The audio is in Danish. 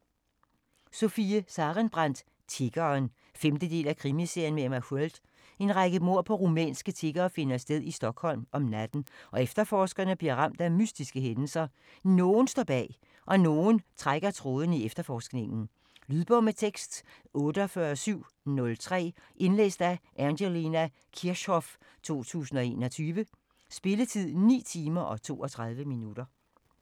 Sarenbrant, Sofie: Tiggeren 5. del af Krimiserien med Emma Sköld. En række mord på rumænske tiggere finder sted i Stockholm om natten, og efterforskerne bliver ramt af mystiske hændelser. Nogen står bag - og nogen trækker i trådende i efterforskningen. Lydbog med tekst 48703 Indlæst af Angelina Kirchhoff, 2021. Spilletid: 9 timer, 32 minutter.